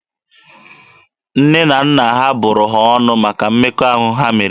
Nne na nna ha bụrụ ha ọnụ maka mmekọahụ ha mere.